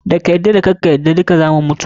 Da ka yarda da karka yarda dukka zamu mutu.